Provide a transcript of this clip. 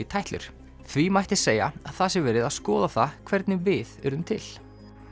tætlur því mætti segja að það sé verið að skoða það hvernig við urðum til